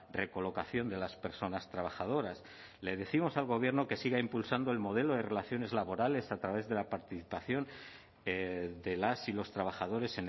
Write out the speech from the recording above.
recolocación de las personas trabajadoras le décimos al gobierno que siga impulsando el modelo de relaciones laborales a través de la participación de las y los trabajadores